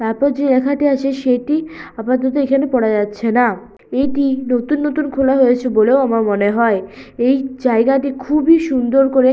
তারপর যে লেখাটি আছে সেটি আপাতত এখানে পড়া যাচ্ছে না। এটি নতুন নতুন খোলা হয়েছে বলেও আমার মনে হয়। এই জায়গাটি খুবই সুন্দর করে--